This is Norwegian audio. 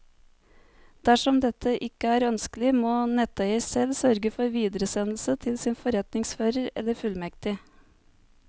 Dersom dette ikke er ønskelig, må netteier selv sørge for videresendelse til sin forretningsfører eller fullmektig.